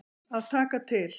Að taka til.